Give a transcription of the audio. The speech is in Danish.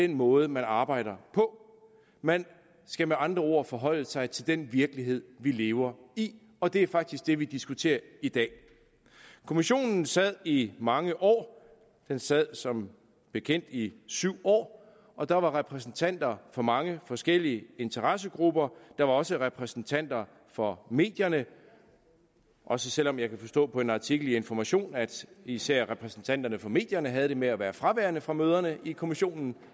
den måde man arbejder på man skal med andre ord forholde sig til den virkelighed vi lever i og det er faktisk det vi diskuterer i dag kommissionen sad i mange år den sad som bekendt i syv år og der var repræsentanter for mange forskellige interessegrupper der var også repræsentanter for medierne også selv om jeg kan forstå på en artikel i information at især repræsentanterne fra medierne havde det med at være fraværende fra møderne i kommissionen